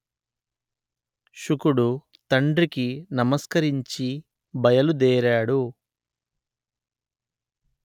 శుకుడు తండ్రికి నమస్కరించి బయలు దేరాడు